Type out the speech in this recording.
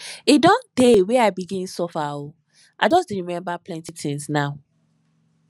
e don tee wey i begin suffer o i just dey remember plenty tins now